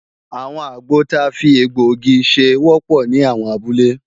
Àwọn àgbọ ta fi egbọ̀-igi ṣe wọ́pọ̀ ní àwọn abúlé